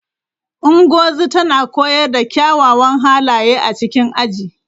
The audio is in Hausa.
Ngozi tana koyar da kyawawan halaye a cikin aji.